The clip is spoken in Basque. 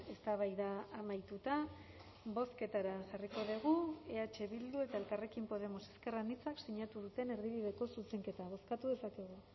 eztabaida amaituta bozketara jarriko dugu eh bildu eta elkarrekin podemos ezker anitzak sinatu duten erdibideko zuzenketa bozkatu dezakegu